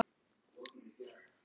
Ég drakk.